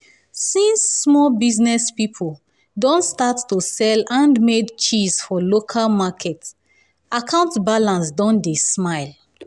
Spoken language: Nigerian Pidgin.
since small business pipo don start to sell handmade cheese for local market account balance don dey smile.